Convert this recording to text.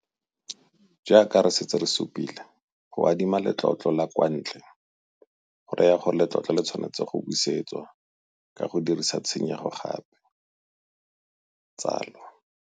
Jaaka re setse re supile, go adima letlotlo la kwa ntle go raya gore letlotlo le tshwanetse go busetswa ka go dirisa tshenyego gape - tsalo.